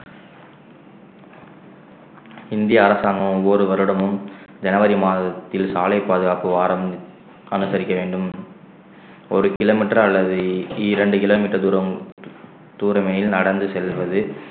இந்திய அரசாங்கம் ஒவ்வொரு வருடமும் ஜனவரி மாதத்தில் சாலை பாதுகாப்பு வாரம் அனுசரிக்க வேண்டும் ஒரு kilometre அல்லது இ~ இரண்டு kilometre தூரம் தூர mile நடந்து செல்வது